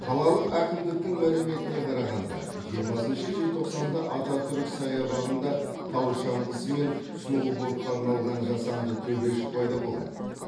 қалалық әкімдіктің мәліметіне қарағанда жиырмасыншы желтоқсанда ататүрік саябағында тау шаңғысы мен сноубордқа арналған жасанды төбешік пайда болады